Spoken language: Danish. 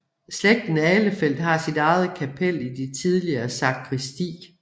Slægten Ahlefeldt har sit eget kapel i det tidligere sakristi